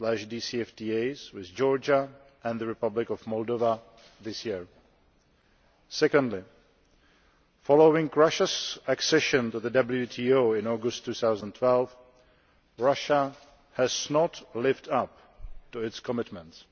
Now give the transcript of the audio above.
DCFTAs with Georgia and the Republic of Moldova this year. Secondly, following Russia's accession to the WTO in August 2012, Russia has not lived up to its commitments.